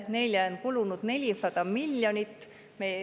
Neile on kulunud 400 miljonit.